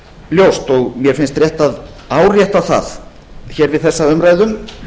ljóst og mér finnst rétt að árétta það hér við þessa umræðu